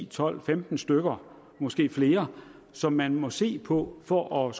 tolv femten stykker måske flere som man må se på for at